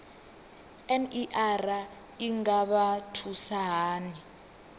ner i nga vha thusa hani